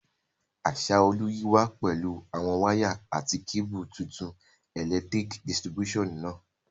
Asaolu yi wa pẹ̀lu àwon wire àti cable tuntun electric distribution náà